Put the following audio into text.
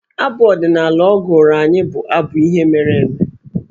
Abụ ọdịnaala ọ gụrụ anyị bụ abụ ihe mere eme.